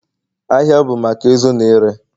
Ahịa bụ maka ịzụ na ire